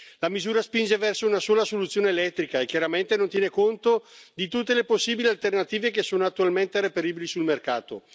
La misura spinge verso una sola soluzione elettrica, e chiaramente non tiene conto di tutte le possibili alternative che sono attualmente reperibili sul mercato.